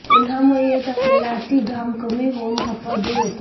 उन्हामुळे येत असलेला अति घाम कमी होऊन थकवा दूर होतो